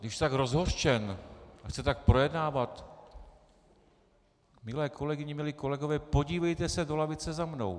Když jste tak rozhořčen, že chcete tak projednávat, milé kolegyně, milí kolegové, podívejte se do lavice za mnou.